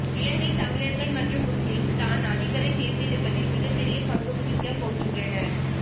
இலங்கை தமிழர்கள் மற்றும் முஸ்லீம் தான் அதிபரை தேர்ந்தெடுப்பதில் மிகப் பெரிய பங்கு வகிக்க போகின்றனர்